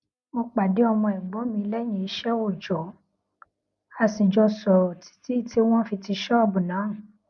mo pàdé ọmọ ẹ̀gbọ́n mi léyìn iṣé oojo a sì jọ sòrò títí tí wón fi ti ṣóòbù náà